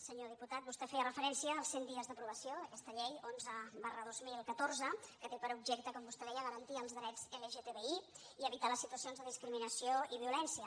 senyor diputat vos·tè feia referència als cent dies d’aprovació d’aquesta llei onze dos mil catorze que té per objecte com vostè deia garan·tir els drets lgtbi i evitar les situacions de discrimi·nació i violència